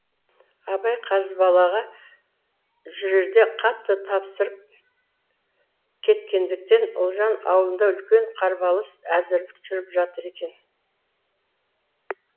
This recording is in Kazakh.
абай қазбалаға жүрерде қатты тапсырып кеткендіктен ұлжан аулында үлкен қарбалыс әзірлік жүріп жатыр екен